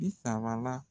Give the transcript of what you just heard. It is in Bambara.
Bi sabala